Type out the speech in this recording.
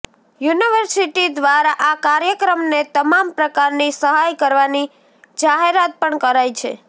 university દ્વારા આ કાર્યક્રમને તમામ પ્રકારની સહાય કરવાની જાહેરાત પણ કરાઈ છે